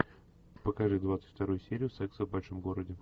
покажи двадцать вторую серию секса в большом городе